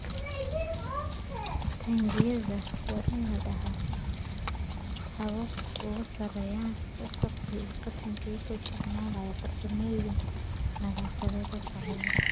Taangiyada waa inay lahaadaan habab ay uga saarayaan wasakhda iyo qashinka iyagoo isticmaalaya farsamooyin nadaafadeed oo sarreeya.